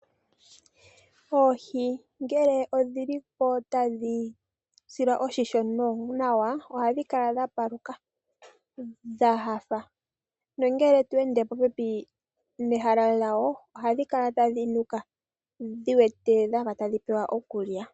Oohi ngele odhili po tadhi silwa oshimpwiyu nawa ohadhi kala dhapaluka dhahafa nongele tweende popepi nehala lyadho ohadhi kala tadhi nuka dhi wete dhafa tadhi pewa iikulya.